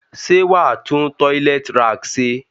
Sé wàá tun toilet rack se?